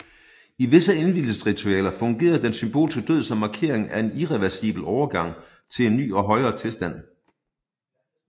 I visse indvielsesritualer fungerede den symbolske død som markering af en irreversibel overgang til en ny og højere tilstand